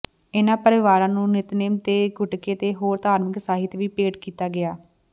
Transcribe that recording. ਇਨ੍ਹਾਂ ਪਰਿਵਾਰਾਂ ਨੂੰ ਨਿਤਨੇਮ ਦੇ ਗੁਟਕੇ ਤੇ ਹੋਰ ਧਾਰਮਿਕ ਸਾਹਿਤ ਵੀ ਭੇਟ ਕੀਤਾ ਗਿਆ